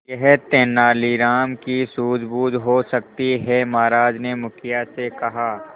यह तेनालीराम की सूझबूझ हो सकती है महाराज ने मुखिया से कहा